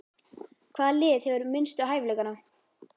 Hvaða lið hefur minnstu hæfileikana?